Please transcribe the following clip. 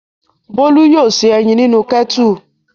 Bólú yóò se ẹyin nínú kẹ́tù.